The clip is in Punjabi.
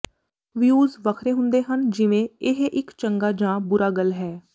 ਵਿਯੂਜ਼ ਵੱਖਰੇ ਹੁੰਦੇ ਹਨ ਜਿਵੇਂ ਇਹ ਇੱਕ ਚੰਗਾ ਜਾਂ ਬੁਰਾ ਗੱਲ ਹੈ